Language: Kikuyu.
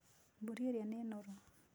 Mbũri iria nĩ noru.